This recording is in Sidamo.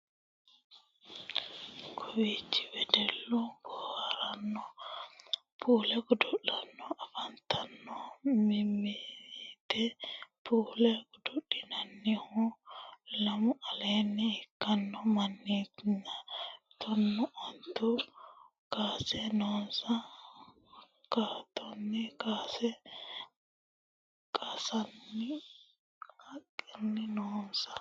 kowiichi weddellu boohaartanni puulle godo'litanni afantanno mineeti. puulle godoli'nannihu lamu aleenni ikkanno manniniiti tonnaa onte kaase noose. hattonni kaase qansanni haqqi noose.